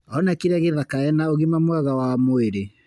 Onekire gĩthaka ena ũgima mwega wa mwĩrĩ.